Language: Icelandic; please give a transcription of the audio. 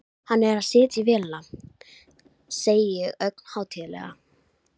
Landbúnaðarráðuneytinu sem hefur staðið atvinnugreininni fyrir þrifum í áratugi!